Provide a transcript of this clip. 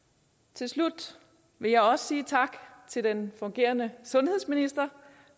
til slut vil jeg også sige tak til den fungerende sundhedsminister